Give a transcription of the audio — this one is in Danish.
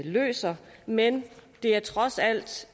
løser men det er trods alt